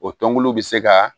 O tɔnbulu bɛ se ka